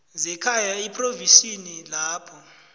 zekhaya ephrovinsini lapho